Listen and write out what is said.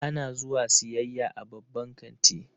Ana zuwa siyayya a babban kanti.